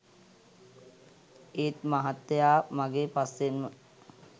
ඒත් මහත්තයා මගේ පස්සෙන්ම